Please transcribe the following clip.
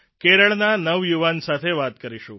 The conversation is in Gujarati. કેરળના નવયુવાન સાથે વાત કરીશું